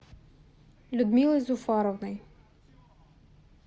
людмилой зуфаровной